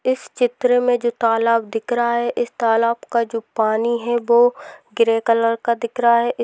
इस चित्र मे जो तालाब दिख रहा है इस तालाब का जो पानी है वो ग्रे कलर का दिख रहा है।